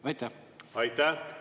Aitäh!